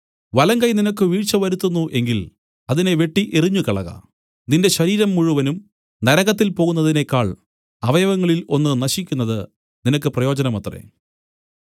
വലങ്കൈ നിനക്ക് വീഴ്ച വരുത്തുന്നു എങ്കിൽ അതിനെ വെട്ടി എറിഞ്ഞുകളക നിന്റെ ശരീരം മുഴുവനും നരകത്തിൽ പോകുന്നതിനേക്കാൾ അവയവങ്ങളിൽ ഒന്ന് നശിക്കുന്നത് നിനക്ക് പ്രയോജനമത്രേ